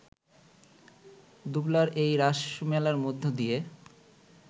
দুবলার এই রাসমেলার মধ্য দিয়ে